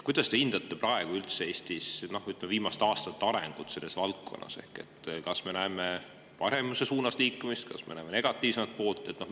Kuidas te üldse hindate Eestis praegu viimaste aastate arengut selles valdkonnas – kas me näeme paremuse suunas liikumist või näeme me negatiivsemat poolt?